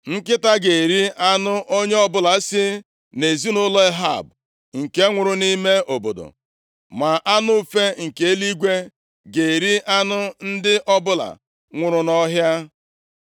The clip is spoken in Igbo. “Nkịta ga-eri anụ onye ọbụla si nʼezinaụlọ Ehab nke nwụrụ nʼime obodo, ma anụ ufe nke eluigwe ga-eri anụ ndị ọbụla nwụrụ nʼọhịa.”